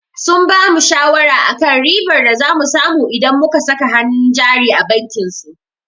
Sun bamu shawara akan ribar da za mu samu idan muka saka hannun jari a bankin su.